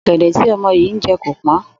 Ò̩gè̩dè̩ tí o̩mo̩ yìí ń je̩ kò pó̩n